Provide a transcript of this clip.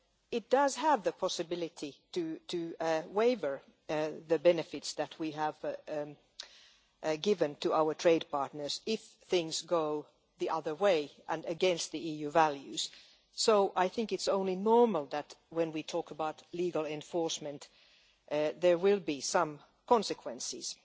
It does have the possibility to waive the benefits that we have given to our trade partners if things go the other way and against EU values, so I think it is only normal that when we talk about legal enforcement there will be some consequences.